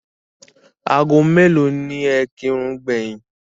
Ago mélòó ni ẹ kírun gbẹ̀yìn?